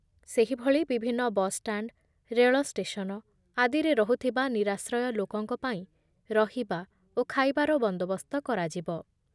ସେହିଭଳି ବିଭିନ୍ନ ବସ୍‌ଷ୍ଟାଣ୍ଡ, ରେଳଷ୍ଟେସନ, ଆଦିରେ ରହୁଥିବା ନିରାଶ୍ରୟ ଲାକଙ୍କ ପାଇଁ ରହିବା ଓ ଖାଇବାର ବନ୍ଦୋବସ୍ତ କରାଯିବ ।